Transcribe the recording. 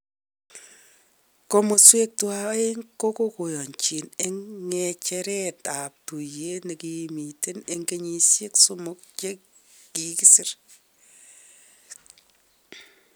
Komoswek tuwan aeng kokoyochin eng nge'cheret tab tuyet nekimiten eng kenyishek somok chekisir.